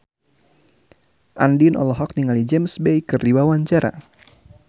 Andien olohok ningali James Bay keur diwawancara